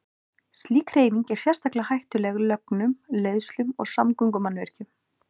Slík hreyfing er sérstaklega hættuleg lögnum, leiðslum og samgöngumannvirkjum.